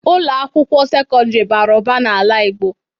Ụlọ akwụkwọ sekọndrị bara ụba n'ala igbo.